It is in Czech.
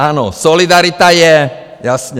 Ano, solidarita je, jasně.